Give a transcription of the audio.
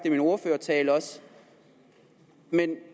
i min ordførertale men